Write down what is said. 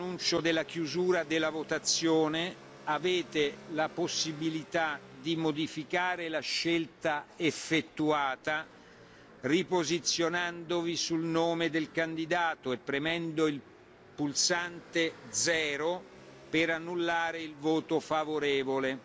dell'annuncio della chiusura della votazione, avete la possibilità di modificare la scelta effettuata riposizionandovi sul nome del candidato e premendo il pulsante 0 per annullare il voto favorevole.